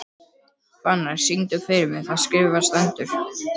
Fannar, syngdu fyrir mig „Það skrifað stendur“.